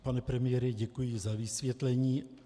Pane premiére, děkuji za vysvětlení.